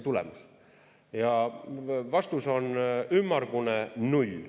Ja vastus on ümmargune null.